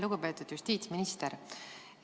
Lugupeetud justiitsminister!